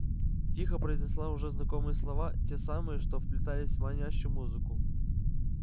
тихо произнесла уже знакомые слова те самые что вплетались в манящую музыку